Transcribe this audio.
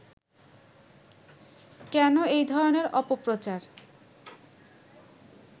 কেন এই ধরনের অপপ্রচার